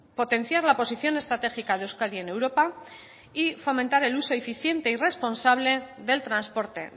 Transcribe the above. potenciar la posición estratégica de euskadi en europa y fomentar el uso eficiente y responsable del transporte